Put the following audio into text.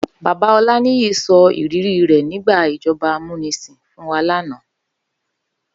Baba Olaniyi sò ìrirí rè nigbá ijòbá àmúnisín fún wá làná